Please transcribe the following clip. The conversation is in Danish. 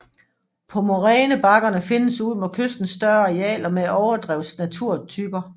På morænebakkerne findes ud mod kysten større arealer med overdrevsnaturtyper